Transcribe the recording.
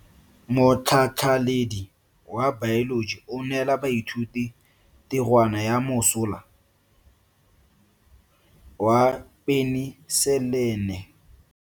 Motlhatlhaledi wa baeloji o neela baithuti tirwana ya mosola wa peniselene.